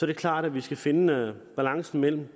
det klart at vi skal finde balancen mellem